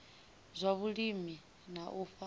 zwa vhulimi na u fha